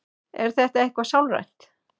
Er þetta eitthvað sálrænt?